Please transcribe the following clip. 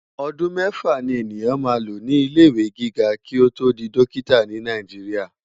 Òdún mèfá ni eniyán má ló ni ilé iwé gigá ki ó tó di Dòkitá ni Náijiriá